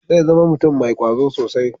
Zai zama mutum mai kwazo sosai.